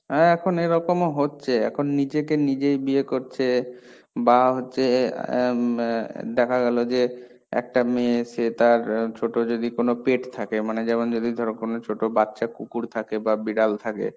হ্যাঁ এখন এরকম হচ্ছে, এখন নিজেকে নিজেই বিয়ে করছে, বা হচ্ছে অ্যা ম অ্যা দেখা গেলো যে, একটা মেয়ে সে তার ছোটো যদি কোনো Pet থাকে মানে যেমন যদি ধরো কোনো ছোটো বাচ্চা কুকুর থাকে বা বিড়াল থাকে,